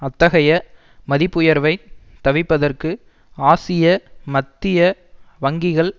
அத்தகைய மதிப்புயர்வைத் தவிர்ப்பதற்கு ஆசிய மத்திய வங்கிகள்